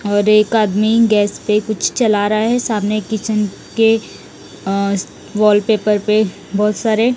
और एक आदमी गैस पे कुछ चला रहा है सामने किचन के अ वाल पेपर पे बहुत सारे--